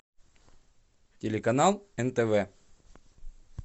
телеканал нтв